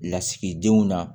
Lasigidenw na